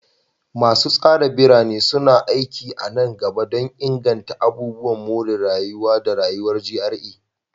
Masu tsara birane a Katsina suna aiki a nan gaba don inganta abubuwan more rayuwa da rayuwar GRA.